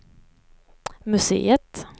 museet